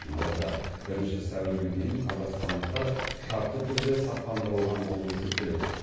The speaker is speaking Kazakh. алайда бірінші сәуірге дейін қазақстандықтар шартты түрде сақтандырылған болып есептеледі